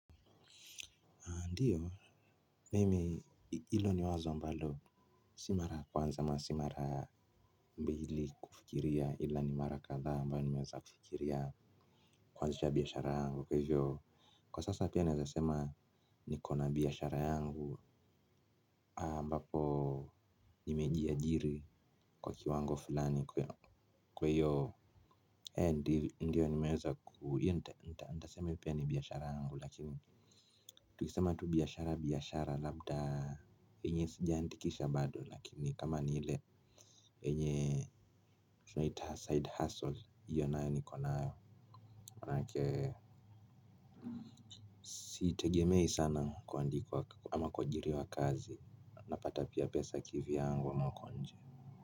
Ndiyo, mimi ilo ni wazo ambalo si mara kwanza ama, si mara mbili kufikiria ila ni mara kadhaa ambao nimeweza kufikiria kwanzisha biyashara yangu. Kwa sasa pia naezasema nikona biyashara yangu mbapo nimejiajiri kwa kiwango fulani kwa iyo. Ndiyo nimeweza kuu, iyo ntasema pia ni biyashara yangu lakini tukisema tu biyashara biyashara labda yenye sijaandikisha bado lakini kama nile enye tunaita side hustle hiyo nayo. Manake siitegemei sana kuandikwa ama kuajiriwa kazi. Napata pia pesa kivyangu ama uko nje.